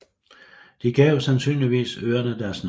De gav sandsynligvis øerne deres navn